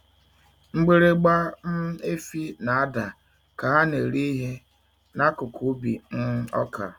Mgbịrịgba um efi na-ada ka ha na-eri ihe n'akụkụ ubi um ọka.